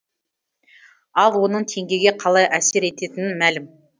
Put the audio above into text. ал оның теңгеге қалай әсер ететіні мәлім